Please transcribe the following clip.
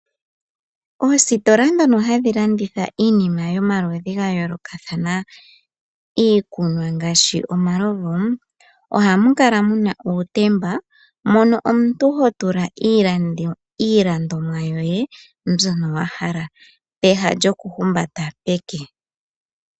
Oositola dhono hadhi landitha iinima yo maludhi ga yoolokathana, iikunwa ngaashi omalovu ohamu kala muna uutemba mono omuntu ho tula iilandomwa yoye mbyono wa hala pewa lyoku humbata peke.